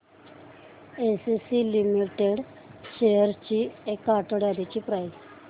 ACC limited shares ची एक आठवड्या आधीची प्राइस